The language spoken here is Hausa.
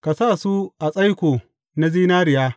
Ka sa su a tsaiko na zinariya.